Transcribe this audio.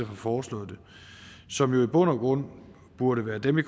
har foreslået det som vel i bund og grund burde være dem i